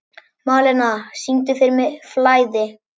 Malena, syngdu fyrir mig „Flæði“.